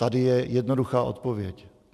Tady je jednoduchá odpověď.